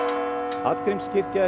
Hallgrímskirkja er